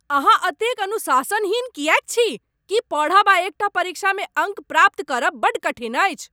अहाँ एतेक अनुशासनहीन किएक छी? की पढ़ब आ एक टा परीक्षा में अङ्क प्राप्त करब बड्ड कठिन अछि?